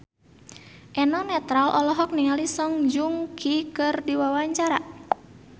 Eno Netral olohok ningali Song Joong Ki keur diwawancara